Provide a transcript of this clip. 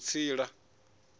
vhutsila